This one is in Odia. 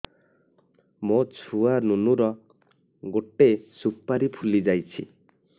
ମୋ ଛୁଆ ନୁନୁ ର ଗଟେ ସୁପାରୀ ଫୁଲି ଯାଇଛି